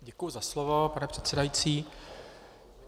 Děkuji za slovo, pane předsedající.